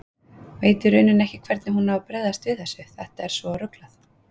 Veit í rauninni ekki hvernig hún á að bregðast við þessu, þetta er svo ruglað.